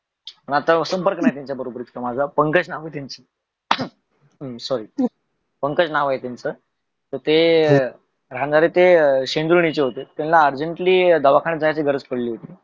आता संपर्क नाही त्यांच्या बरोबर इतका माझा पंकज नाव आहे त्यांचे sorry पंकज नाव आहे त्यांचे ते राहणारते सिंदुर्लीचे होते त्यांना urgent ली दवाखान्यात जायेची गरज पडली होती.